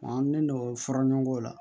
An ne n'o fɔra ɲɔgɔn kɔ